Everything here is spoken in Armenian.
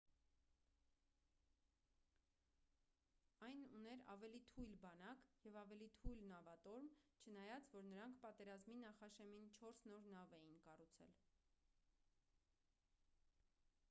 այն ուներ ավելի թույլ բանակ և ավելի թույլ նավատորմ չնայած որ նրանք պատերազմի նախաշեմին չորս նոր նավ էին կառուցել